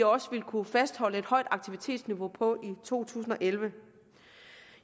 også vil kunne fastholde et højt aktivitetsniveau på i to tusind og elleve